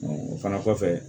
o fana kɔfɛ